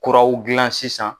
Kuraw dilan sisan